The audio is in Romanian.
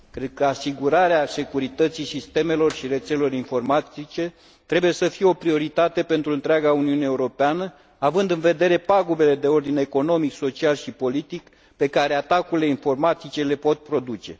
Cred că asigurarea securității sistemelor și rețelelor informatice trebuie să fie o prioritate pentru întreaga Uniune Europeană, având în vedere pagubele de ordin economic, social și politic pe care atacurile cibernetice le pot produce.